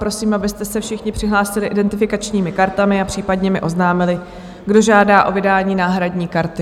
Prosím, abyste se všichni přihlásili identifikačními kartami a případně mi oznámili, kdo žádá o vydání náhradní karty.